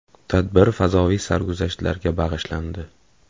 Tadbir fazoviy sarguzashtlarga bag‘ishlandi.